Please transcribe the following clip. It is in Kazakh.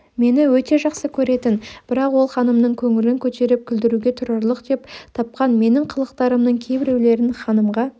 мені өте жақсы көретін бірақ ол ханымның көңілін көтеріп күлдіруге тұрарлық деп тапқан менің қылықтарымның кейбіреулерін ханымға